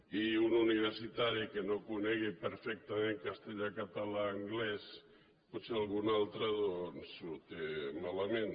i un universitari que no conegui perfectament castellà català anglès pot·ser alguna altra doncs ho té malament